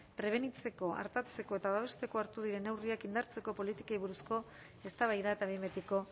prebenitzeko artatzeko eta babesteko hartu diren neurriak indartzeko politikei buruzko eztabaida eta behin betiko